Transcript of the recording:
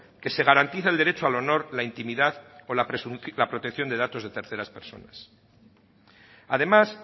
que se garantiza el derecho al honor la intimidad o la protección de datos de terceras personas además